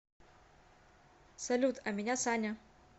салют а меня саня